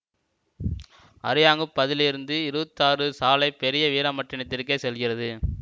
அரியாங்குப்பதிலிருந்து இருபத்தி ஆறு சாலை பெரிய வீராம்பட்டினதிற்க்கு செல்கிறது